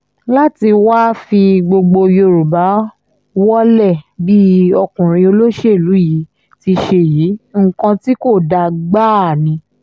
láti wáá fi gbogbo yorùbá wọ́lẹ̀ bí ọkùnrin olóṣèlú yìí ti ṣe yìí nǹkan tí kò dáa gbáà ni